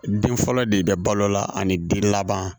Den fɔlɔ de bɛ balo la ani den laban